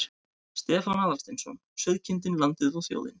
Stefán Aðalsteinsson: Sauðkindin, landið og þjóðin.